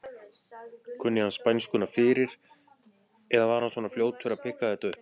Kunni hann spænskuna fyrir eða er hann svona fljótur að pikka þetta upp?